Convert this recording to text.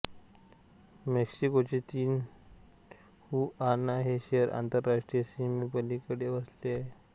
मेक्सिकोचे Tijuana हे शहर आंतरराष्ट्रीय सीमेपलिकडे वसले आहे